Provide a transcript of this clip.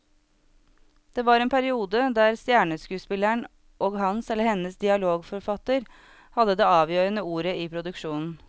Det var en periode der stjerneskuespilleren og hans eller hennes dialogforfatter hadde det avgjørende ordet i produksjonen.